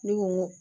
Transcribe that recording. Ne ko ŋo